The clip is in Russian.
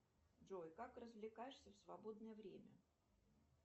джой как развлекаешься в свободное время